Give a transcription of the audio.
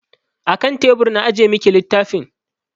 A kan tebur na ajiye miki littafin.